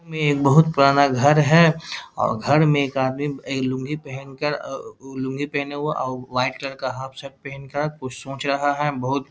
में बहुत पुराना घर है और घर में एक आदमी ऐ लुंगी पहन कर अ उ लुंगी पहने हुआ और वाइट कलर का हाफ शर्ट पहन कर कुछ सोच रहा है बहुत --